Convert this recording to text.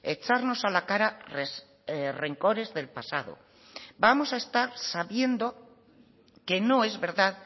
echarnos a la cara rencores del pasado vamos a estar sabiendo que no es verdad